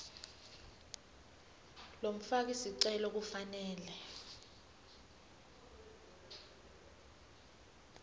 lomfaki sicelo kufanele